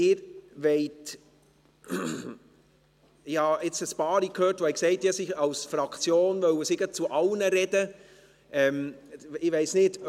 Ich habe jetzt einige von Ihnen gehört, die gesagt haben, ihre Fraktion wolle gleich zu allem sprechen.